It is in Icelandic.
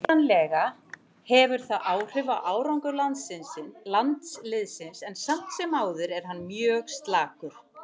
Vitanlega hefur það áhrif á árangur landsliðsins en samt sem áður er hann mjög slakur.